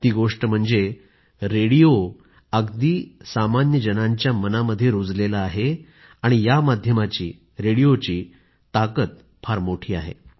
ती गोष्ट म्हणजे रेडिओ अगदी जनांच्या मनामध्ये रूजला आहे आणि या माध्यमाचीरेडिओची खूप मोठी ताकद आहे